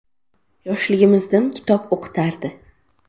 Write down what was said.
Yoshligimizdan kitob o‘qitardi.